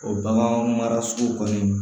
O bagan mara sugu kɔni